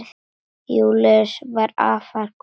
Júlíus var afar kurteis maður.